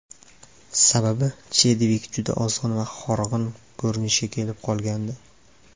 Sababi Chedvik juda ozg‘in va horg‘in ko‘rinishga kelib qolgandi.